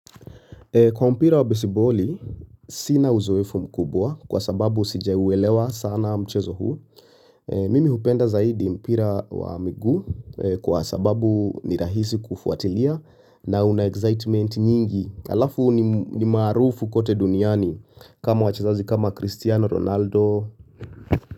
Kwa mpira wa besiboli, sina uzoefu mkubwa kwa sababu sija uelewa sana mchezo huu. Mimi hupenda zaidi mpira wa miguu kwa sababu ni rahisi kufuatilia na una excitement nyingi. Alafu ni maarufu kote duniani kama wachezaji kama Cristiano Ronaldo.